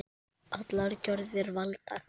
Allar gjörðir valda karma.